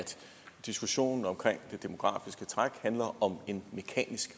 diskussionen om det demografiske træk handler om en mekanisk